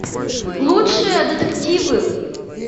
лучшие детективы